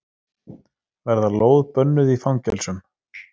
Verða lóð bönnuð í fangelsum